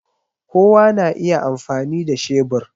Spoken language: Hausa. Kowa na iya amfani da shebur